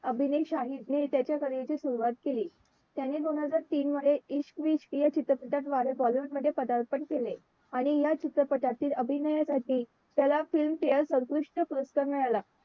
अभिने शाही ने त्याच्या कलेची सुरवात केली त्याने दोन हजार तीन मधे इश्क विश्क या चित्रपटाद्वारे bollywood मध्ये पदार्पण केले आणि या चित्रपटातील अभिनयासाठी त्याला फिल्मफेअर सर्वोत्कृष्ट पुरस्कार मिळाला